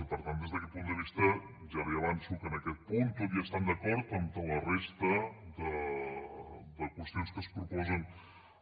i per tant des d’aquest punt de vista ja li avanço que en aquest punt tot i estant d’acord amb la resta de qüestions que es proposen